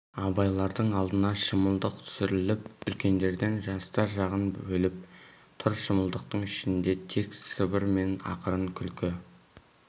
абайлардың алдына шымылдық түсіріліп үлкендерден жастар жағын бөліп тұр шымылдық ішінде тек сыбыр мен ақырын күлкі